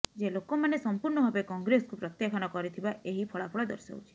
ଯେ ଲୋକମାନେ ସମ୍ପୂର୍ଣ୍ଣ ଭାବେ କଂଗ୍ରେସକୁ ପ୍ରତ୍ୟାଖାନ କରିଥିବା ଏହି ଫଳାଫଳ ଦର୍ଶାଉଛି